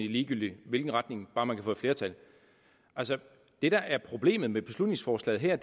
i ligegyldig hvilken retning bare man kan få et flertal det der er problemet med beslutningsforslaget her